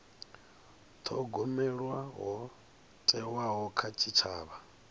thogomelwa ho thewaho kha tshitshavha